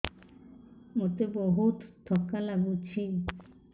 ମୋତେ ବହୁତ୍ ଥକା ଲାଗୁଛି